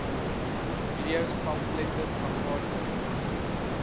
videos pamflette plakkate